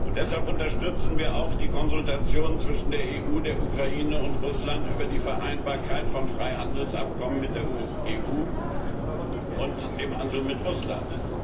Deshalb unterstützen wir auch die Konsultationen zwischen der EU, der Ukraine und Russland über die Vereinbarkeit von Freihandelsabkommen mit der EU und dem Handel mit Russland.